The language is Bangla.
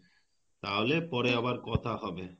তাহলে পরে আবার কথা হবে